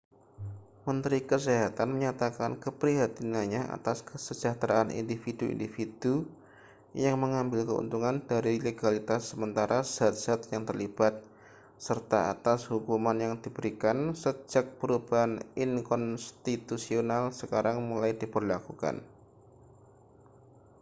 menteri kesehatan menyatakan keprihatinannya atas kesejahteraan individu-individu yang mengambil keuntungan dari legalitas sementara zat-zat yang terlibat serta atas hukuman yang diberikan sejak perubahan inkonstitusional sekarang mulai diberlakukan